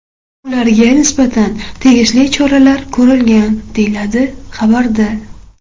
Ularga nisbatan tegishli choralar ko‘rilgan, deyiladi xabarda.